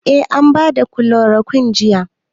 Eh an ba da kilorokun jiya.